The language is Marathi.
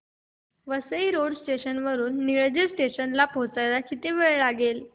वसई रोड स्टेशन वरून निळजे स्टेशन ला पोहचायला किती वेळ लागतो